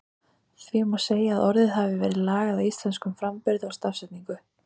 Því má segja að orðið hafi verið lagað að íslenskum framburði og stafsetningu.